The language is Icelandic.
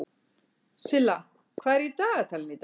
Silla, hvað er í dagatalinu í dag?